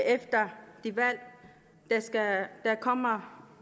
efter det valg der kommer